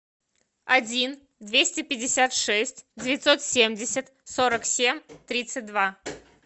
один двести пятьдесят шесть девятьсот семьдесят сорок семь тридцать два